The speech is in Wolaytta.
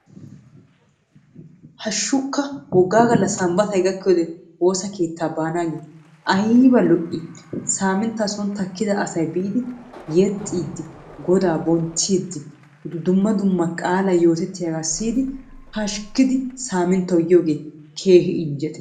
Haashshukka woggaa gaalla sambbatay gakkiyoode woosa keettaa baanagee ayba lo"ii! Saminttaa soni takkida asay biidi yeexxiidi goodaa bonchchiidi dumma dumma qaalay yoottettiyaagaa siiyidi pashshikiidi saminttaa yiyoogee keehi injjettiyaaba.